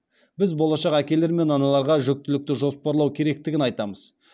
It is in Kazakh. біз болашақ әкелер мен аналарға жүктілікті жоспарлау керектігін айтамыз